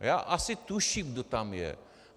Já asi tuším, kdo tam je.